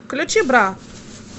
включи бра